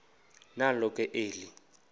nalo ke eli